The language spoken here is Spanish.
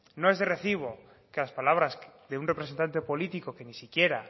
no es de recibo que las palabras de un representante político que ni siquiera